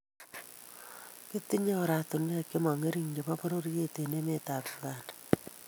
Kitinye oratinwek che mongering chebo pororiet eng emetab Uganda